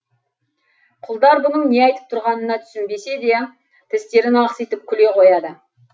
құлдар бұның не айтып тұрғанына түсінбесе де тістерін ақситып күле қояды